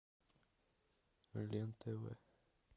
лен тв